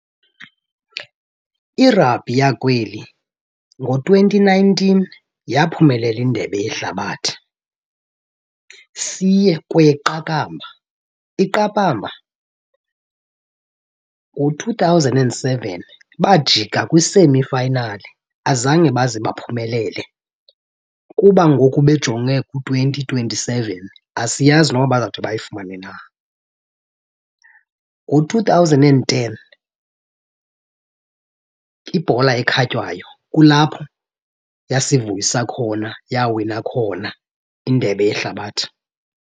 Irabhi yakweli ngo-twenty nineteen yaphumelela indebe yehlabathi. Siye kweyeqakamba. Iqakamba ngo-two thousand and seven bajika kwi-semi final, azange baze baphumelele. Kuba ngoku bejonge ku-twenty twenty-seven, asiyazi noba bazawude bayifumane na. Ngo-two thousand and ten ibhola ekhatywayo kulapho yasivuyisa khona yawina khona indebe yehlabathi.